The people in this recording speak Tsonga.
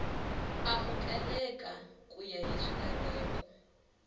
amukeleka ku ya hi swilaveko